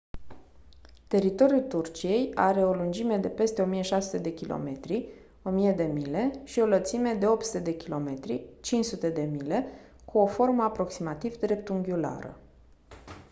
teritoriul turciei are o lungime de peste 1600 de kilometri 1000 de mile și o lățime de 800 km 500 de mile cu o formă aproximativ dreptunghiulară